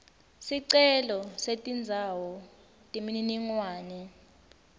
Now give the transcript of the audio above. sicelo setindzawo temininingwane